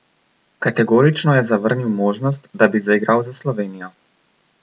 Kategorično je zavrnil možnost, da bi zaigral za Slovenijo.